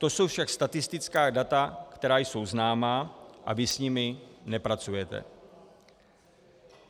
To jsou však statistická data, která jsou známá, a vy s nimi nepracujete.